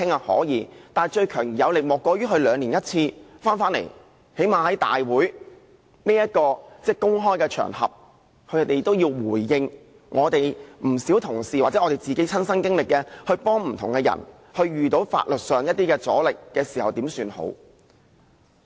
可以，但最強而有力的莫過於兩年一次回來，最低限度在立法會大會這個公開的場合，政府需要回應不少同事或我們這些親身經歷、幫助過不同的人，在遇到法律上的阻力時應怎麼辦。